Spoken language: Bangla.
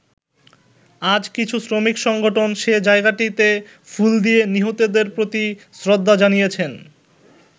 আজ কিছু শ্রমিক সংগঠন সে জায়গাটিতে ফুল দিয়ে নিহতদের প্রতি শ্রদ্ধা জানিয়েছেন।